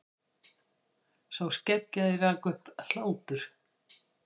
Sá skeggjaði rak upp hlátur.